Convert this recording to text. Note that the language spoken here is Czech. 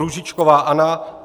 Růžičková Anna